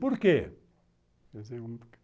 Por quê?